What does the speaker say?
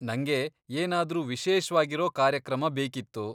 ನಂಗೆ ಏನಾದ್ರೂ ವಿಶೇಷ್ವಾಗಿರೋ ಕಾರ್ಯಕ್ರಮ ಬೇಕಿತ್ತು.